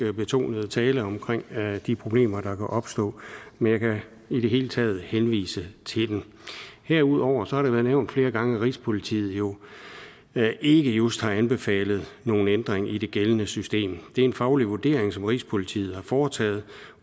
betonede tale om de problemer der kan opstå men jeg kan i det hele taget henvise til den herudover har det været nævnt flere gange at rigspolitiet jo ikke just har anbefalet nogen ændring i det gældende system det er en faglig vurdering som rigspolitiet har foretaget